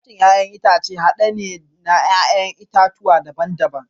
salatin 'ya'yan itace hade ne na 'ya'yan itatuwa daban-daban